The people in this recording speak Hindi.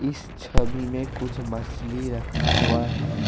इस छवि में कुछ मछली रखा हुआ है।